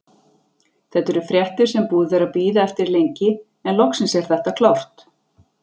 Þetta eru fréttir sem búið er að bíða eftir lengi, en loksins er þetta klárt.